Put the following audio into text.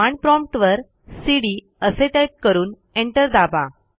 command prompt वर CD असे type करून एंटर दाबा